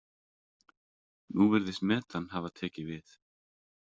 Nú virðist metan hafa tekið við.